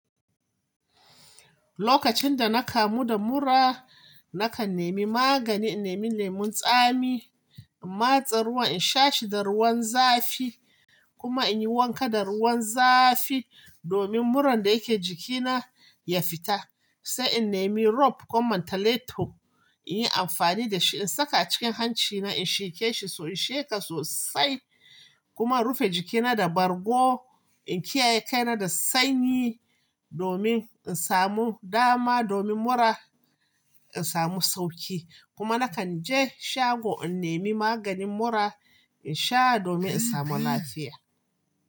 Lokacin da na kamu da mura, na kan nemi magani, na nemi lemon tsami, in matse ruwan in sha shi da ruwan zafi kuma in yi wanka da ruwan zafi domin muran da yake jikina ya fita. Sai in nemi rope ko mantaleto in yi amfani da shi, in saka a cikin hancina in sheke shi, in sheka sosai kuma in rufe jikina da bargo. In kiyaye kaina da sanyi domin in samu dama, domin mura in samu sauki. Kuma na kan je shago in nemi maganin mura in sha domin in samu lafiya.